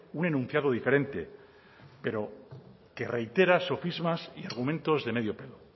un enunciado diferente pero que reitera sofismas y argumentos de medio pelo